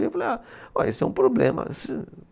Eu falei, ah, olha, isso é um problema.